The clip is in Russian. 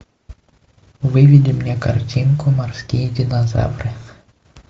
выведи мне картинку морские динозавры